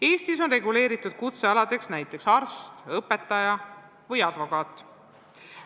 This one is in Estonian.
Eestis on reguleeritud kutsealadeks näiteks arst, õpetaja ja advokaat.